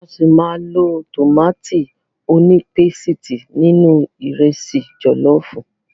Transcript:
A ṣi máa lo tòmátì onípésìtì nínú ìrẹsi jọ̀lọ́fùú.